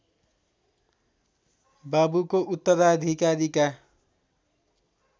बाबुको उत्तराधिकारीका